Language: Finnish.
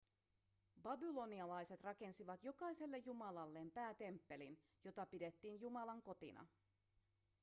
babylonialaiset rakensivat jokaiselle jumalalleen päätemppelin jota pidettiin jumalan kotina